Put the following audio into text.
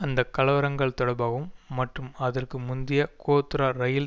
அந்த கலவரங்கள் தொடர்பாகவும் மற்றும் அதற்கு முந்திய கோத்ரா ரயில்